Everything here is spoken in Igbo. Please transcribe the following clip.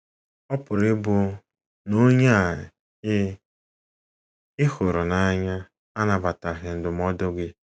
Ọ pụrụ ịbụ na onye ị ị hụrụ n’anya anabataghị ndụmọdụ gị.